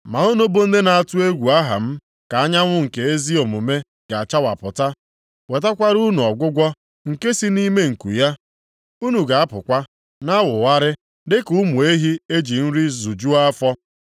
Ma unu bụ ndị na-atụ egwu aha m ka anyanwụ nke ezi omume ga-achawapụta wetakwara unu ọgwụgwọ nke si nʼime nku ya. Unu ga-apụkwa, na-awụgharị dịka ụmụ ehi eji nri zujuo afọ.